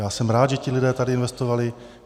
Já jsem rád, že ti lidé tady investovali.